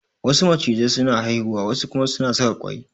Wasu macizai su na haihuwa wa su kuma suna saka ƙwai